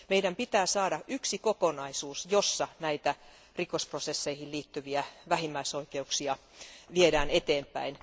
Meidän pitää saada yksi kokonaisuus, jossa rikosprosesseihin liittyviä vähimmäisoikeuksia viedään eteenpäin.